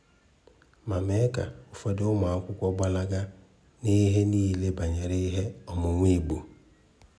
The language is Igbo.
ma mee ka ụfọdụ ụmụakwụkwọ gbalaga n'ihe niile banyere ihe ọmụmụ Igbo.